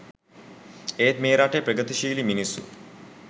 ඒත් මේ රටේ ප්‍රගතිශීලි මිනිස්සු